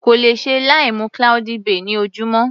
Kò lè ṣe láì mu cloudy bay ní ojúmọ́.